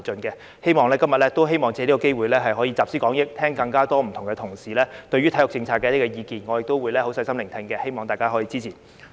我希望藉今天的機會集思廣益，聽取各位同事對體育政策的意見，我亦會細心聆聽，希望大家支持。